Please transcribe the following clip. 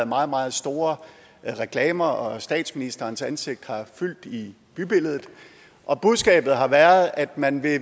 meget meget store reklamer og statsministerens ansigt har fyldt i bybilledet og budskabet har været at man